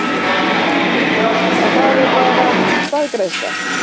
Andri: Og það er bara staðgreiðsla?